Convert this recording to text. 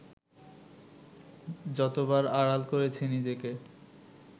যতবার আড়াল করেছি নিজেকে